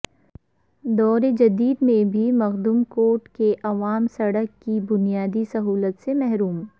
دور جدید میں بھی مخدوم کوٹ کے عوام سڑک کی بنیادی سہولت سے محروم